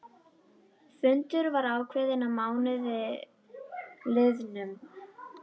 Fundur var ákveðinn að mánuði liðnum.